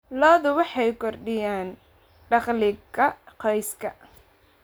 Lo'du waxay kordhiyaan dakhliga qoyska.